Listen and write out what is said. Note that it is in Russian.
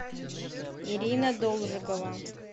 ирина должикова